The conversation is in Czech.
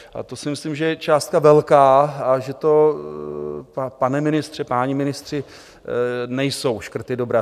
A to si myslím, že je částka velká a že to, pane ministře, páni ministři, nejsou škrty dobré.